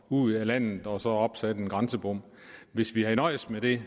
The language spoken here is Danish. ud af landet og så opsat en grænsebom hvis vi havde nøjedes med det